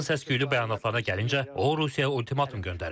Trampın səs-küylü bəyanatlarına gəldikdə, o Rusiyaya ultimatum göndərib.